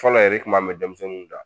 Fɔlɔ yɛrɛ i kun m'a mɛ denmisɛnnu da